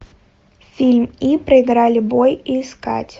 фильм и проиграли бой искать